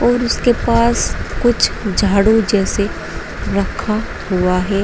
और उसके पास कुछ झाड़ू जैसे रखा हुआ है।